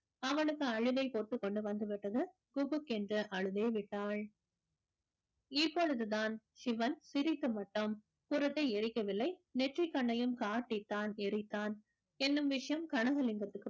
அவளுக்கு அழுகை பொத்துக்கொண்டு வந்து விட்டது குபுக்கென்று அழுதே விட்டாள் இப்பொழுதுதான் சிவன் திரித்து மட்டும் புறத்தை எரிக்கவில்லை நெற்றிக் கண்ணையும் காட்டி தான் எரித்தான் என்னும் விஷயம் கனகலிங்கத்துக்கு